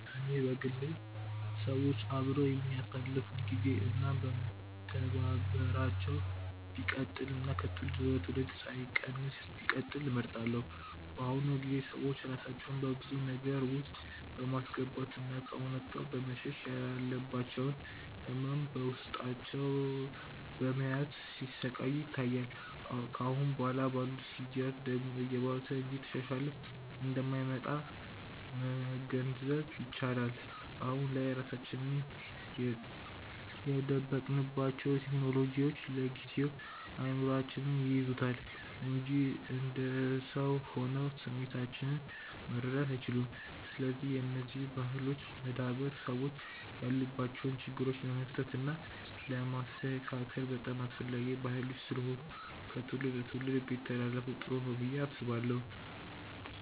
እኔ በግሌ ሰዎች አብረው የሚያሳልፋት ግዜ እና መተባበራቸው ቢቀጥል እና ከትውልድ ወደ ትውልድ ሳይቀንስ ቢቀጥል እመርጣለሁ። በአሁኑ ጊዜ ሰዎች ራሳቸውን በብዙ ነገር ውስጥ በማስገባት እና ከእውነታው በመሸሽ ያለባቸውን ህመም በውስጣቸው በመያዝ ሲሰቃዩ ይታያል። ከአሁን በኋላ ባሉት ጊዜያት ደግሞ እየባሰ እንጂ እየተሻሻለ እንደማይመጣ መገንዘብ ይቻላል። አሁን ላይ ራሳችንን የደበቅንባቸው ቴክኖሎጂዎች ለጊዜው እይምሮአችንን ይይዙታል እንጂ እንደ ሰው ሆነው ስሜቶቻችንን መረዳት አይችሉም። ስለዚህ የነዚህ ባህሎች መዳበር ሰዎች ያሉባቸውን ችግሮች ለማቅለል እና ለማስተካከል በጣም አስፈላጊ ባህሎች ስለሆኑ ከትውልድ ትውልድ ቢተላለፋ ጥሩ ነው ብዬ አስባለሁ።